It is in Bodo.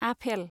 आफेल